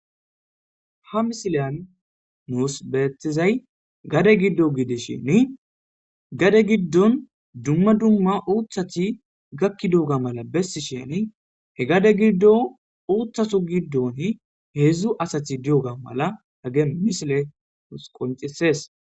Ha misiliyan nuus beetizay gade giddo gidishini gade giddon dumma dumma uththati gakidoga mala besishini he gade giddon uththatu giddoni hedzdzu asati diyoga mala hage misiley nuus qoncises.